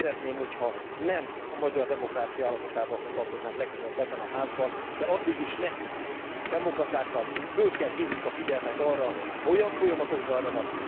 Szeretném, ha nem a magyar demokrácia állapotával foglalkoznánk legközelebb ebben a házban, de addig is nekünk, demokratáknak kell felhívnunk a figyelmet arra, ha olyan folyamatok zajlanak